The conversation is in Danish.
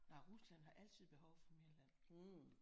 Nej Rusland har altid behov for mere land